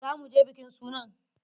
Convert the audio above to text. Za mu je bikin sunan.